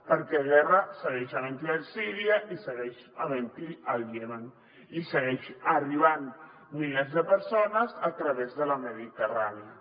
perquè guerra segueix havent·n’hi a síria i segueix havent·n’hi al iemen i segueixen arribant milers de persones a través de la mediterrània